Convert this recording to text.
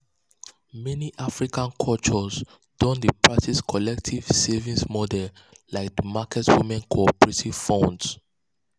meni african cultures don dey practice collective savings models like di market women cooperative funds.